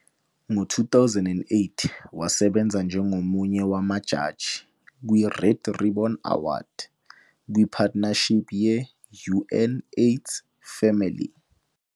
Ngo 2008 wasebenza njengomunye wamajaji kwi-Red Ribbon Award, kwi-partnership ye-UNAIDS Family.